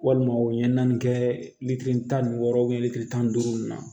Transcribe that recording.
Walima u ɲɛ naani kɛ litiri tan ni wɔɔrɔ litiri tan ni duuru in na